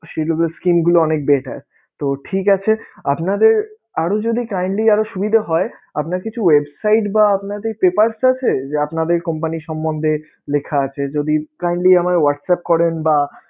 গুলা অনেক better তো ঠিক আছে আপনাদের আরও যদি kindly আরও সুবিধা হয়, আপনার কিছু website বা আপনাদের papers আছে যে আপনাদের company সম্বন্ধে লেখা আছে? যদি kindly আমায় whatsapp করেন বা